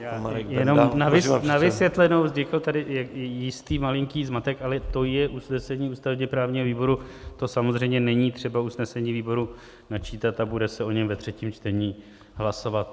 Já jenom na vysvětlenou, vznikl tady jistý malinký zmatek, ale to je usnesení ústavně-právního výboru, to samozřejmě není třeba usnesení výboru načítat a bude se o něm ve třetím čtení hlasovat.